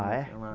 Ah, é?